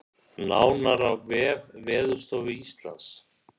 Nánar á vef Veðurstofu Íslands